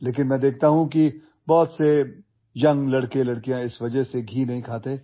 But I see that many young boys and girls do not eat ghee because they fear that they might become fat